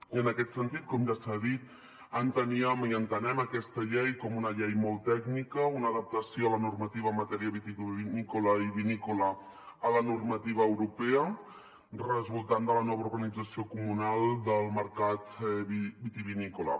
i en aquest sentit com ja s’ha dit enteníem i entenem aquesta llei com una llei molt tècnica una adaptació a la normativa en matèria vitivinícola i vinícola a la normativa europea resultant de la nova organització comunal del mercat vitivinícola